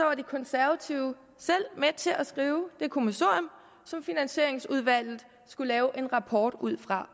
var de konservative selv med til at skrive det kommissorium som finansieringsudvalget skulle lave en rapport ud fra